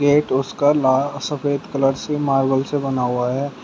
उसका लाल सफेद कलर से मार्बल से बना हुआ है।